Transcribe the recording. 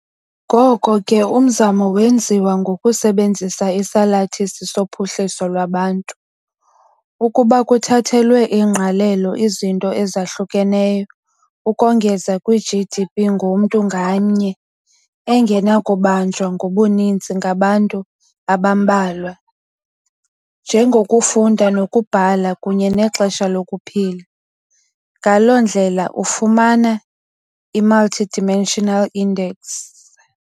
Ngoko ke umzamo wenziwa, ngokusebenzisa isalathisi sophuhliso lwabantu, ukuba kuthathelwe ingqalelo izinto ezahlukeneyo, ukongeza kwi -GDP ngomntu ngamnye, engenakubanjwa ngobuninzi ngabantu abambalwa, njengokufunda nokubhala kunye nexesha lokuphila, ngaloo ndlela ufumana i-multidimensional index.